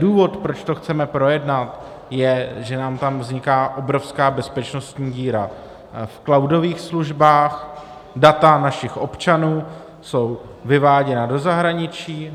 Důvod, proč to chceme projednat, je, že nám tam vzniká obrovská bezpečnostní díra v cloudových službách, data našich občanů jsou vyváděna do zahraničí.